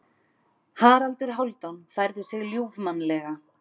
Haraldur Hálfdán færði sig ljúfmannlega.